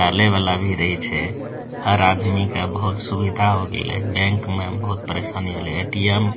डाले वाला भी रही छै हर आदमी के बहुत सुविधा हो गइले बैंक में बहुत परेशानी होइले ए.टी.एम. --